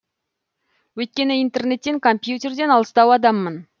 өйткені интернеттен компьютерден алыстау адаммын